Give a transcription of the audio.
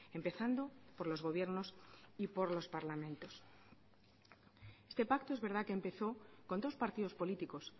empezando por los gobiernos y por los parlamentos este pacto es verdad que empezó con dos partidos políticos